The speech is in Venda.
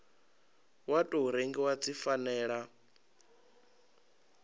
wa tou rengiwa dzi fanela